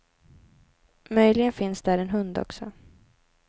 Möjligen finns där en hund också.